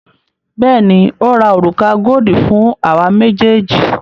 Bẹẹni, ó ra òrùka goodi fún àwa méjèèjì